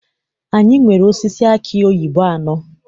Anyị nwere osisi aki oyibo anọ.